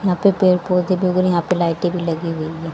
यहां पे पेड़ पौधे भी उग रहे यहां पे लाइटें भी लगी हुई है।